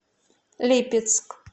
липецк